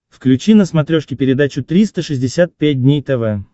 включи на смотрешке передачу триста шестьдесят пять дней тв